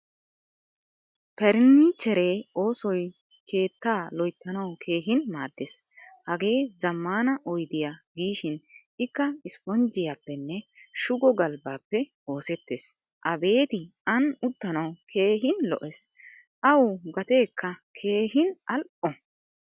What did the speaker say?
pernichcheree oosoy keettaa loyttanawu keehin maadees. Hagee zamaana oyddiya gishin ikka isponjjiyappene shugo galbbappe oosettees. Abeetti ani uttanawu keehin lo"ees. Awu gateekka keehin al"o.